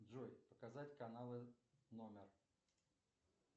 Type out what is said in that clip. джой показать каналы номер